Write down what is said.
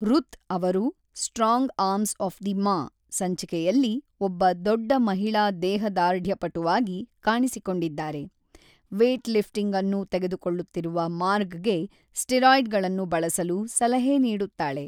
ರುತ್ ಅವರು "strong arms of the ma" ಸಂಚಿಕೆಯಲ್ಲಿ ಒಬ್ಬ ದೊಡ್ಡ ಮಹಿಳಾ ದೇಹದಾರ್ಢ್ಯಪಟುವಾಗಿ ಕಾಣಿಸಿಕೊಂಡಿದ್ದಾರೆ ವೇಟ್‌ಲಿಫ್ಟಿಂಗ್ ಅನ್ನು ತೆಗೆದುಕೊಳ್ಳುತ್ತಿರುವ ಮಾರ್ಗ್‌ಗೆ ಸ್ಟೀರಾಯ್ಡ್‌ಗಳನ್ನು ಬಳಸಲು ಸಲಹೆ ನೀಡುತ್ತಾಳೆ.